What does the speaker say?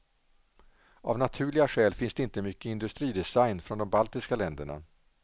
Av naturliga skäl finns det inte mycket industridesign från de baltiska länderna.